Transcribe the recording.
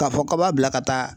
Ka fɔ k'a b'a bila ka taa